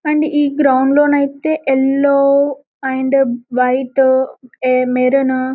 and ఈ ground లో నయితే యెల్లో అండ్ వైట్ ఎ -మెరును --